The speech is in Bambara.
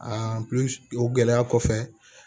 o gɛlɛya kɔfɛ